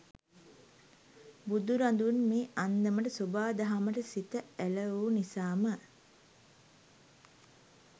බුදුරදුන් මේ අන්දමට සොබා දහමට සිත ඇල වූ නිසාම